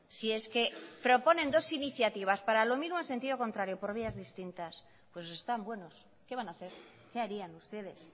si es que proponen dos iniciativas para lo mismo en sentido contrario por vías distintas pues están buenos qué van a hacer qué harían ustedes